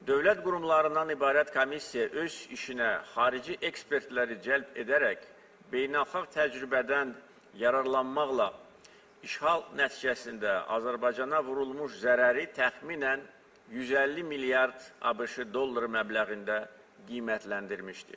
Dövlət qurumlarından ibarət komissiya öz işinə xarici ekspertləri cəlb edərək, beynəlxalq təcrübədən yararlanmaqla işğal nəticəsində Azərbaycana vurulmuş zərəri təxminən 150 milyard ABŞ dolları məbləğində qiymətləndirmişdir.